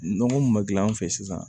Nɔgɔ mun ma gilan an fɛ sisan